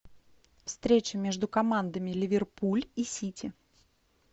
встреча между командами ливерпуль и сити